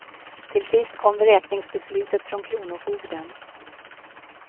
Till sist kom vräkningsbeslutet från kronofogden.